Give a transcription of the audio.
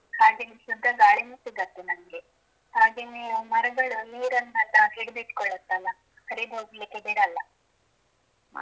ಮಳೇನು ಚೆನ್ನಾಗಿ ಬರುತ್ತೆ ಹಾಗೇನೇ ಶುದ್ಧ ಗಾಳಿನು ಸಿಗತ್ತೆ ನಮ್ಗೆ ಹಾಗೇನೇ ಮರಗಳು ನೀರನ್ನೆಲ್ಲ ಹಿಡಿದಿಟ್ಕೊಳತ್ತಲ್ಲಾ ಹರಿದು ಹೋಗ್ಲಿಕ್ಕೆ ಬಿಡಲ್ಲ .